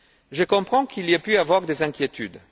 Je comprends qu'il ait pu y avoir des inquiétudes.